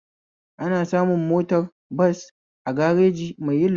Ana samu motar bas a gareji mai yin lodi